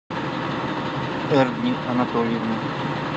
эрник анатольевна